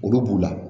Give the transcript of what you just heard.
Olu b'u la